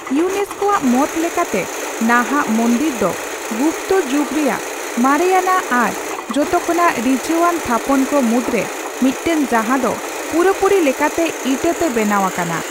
UNESCO ᱟᱜ ᱢᱚᱛ ᱞᱮᱠᱟᱛᱮ, ᱱᱟᱦᱟᱜ ᱢᱚᱱᱫᱤᱨ ᱫᱚ ᱜᱩᱯᱛᱚ ᱡᱩᱜᱽ ᱨᱮᱭᱟᱜ ᱢᱟᱨᱮᱭᱟᱱᱟᱜ ᱟᱨ ᱡᱚᱛᱚ ᱠᱷᱚᱱᱟᱜ ᱨᱤᱡᱷᱟᱹᱣᱟᱱ ᱛᱷᱟᱯᱚᱱ ᱠᱚ ᱢᱩᱫᱽ ᱨᱮ ᱢᱤᱫᱴᱟᱝ ᱡᱟᱦᱟᱸ ᱫᱚ ᱯᱩᱨᱟᱹᱯᱩᱨᱤ ᱞᱮᱠᱟᱛᱮ ᱤᱴᱟᱹ ᱛᱮ ᱵᱮᱱᱟᱣ ᱟᱠᱟᱱᱟ ᱾